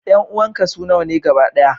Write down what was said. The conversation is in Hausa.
Ƴan uwanka su nawa ne gaba ɗaya?